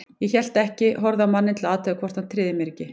Ég hélt ekki, horfði á manninn til að athuga hvort hann tryði mér ekki.